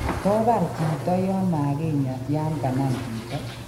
To bar chito yon magakinya yan kanam chito?